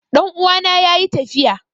Ɗan'uwana yayi tafiya